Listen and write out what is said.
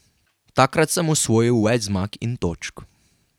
Takrat sem osvojil več zmag in točk.